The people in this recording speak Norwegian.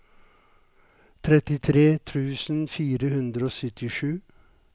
trettitre tusen fire hundre og syttisju